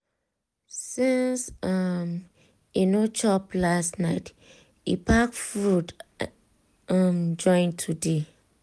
**since um e no chop last night e pack fruit um join today